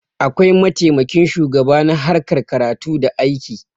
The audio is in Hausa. akwai mataimakin shugaba na harkar karatu da na aiki